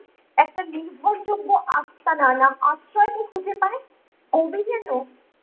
একটা নির্ভর যোগ্য আস্তানা বা আশ্রয় কে খুঁজে পায় । কবি যেন